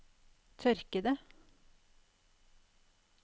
tørkede